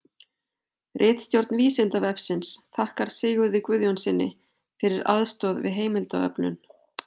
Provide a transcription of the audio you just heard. Ritstjórn Vísindavefsins þakkar Sigurði Guðjónssyni fyrir aðstoð við heimildaöflun.